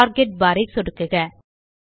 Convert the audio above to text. target bar ஐ சொடுக்குக